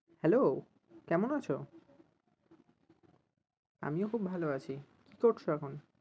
Hello কেমন আছো? আমিও খুব ভালো আছি, কী করছো এখন?